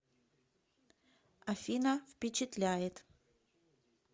афина впечатляет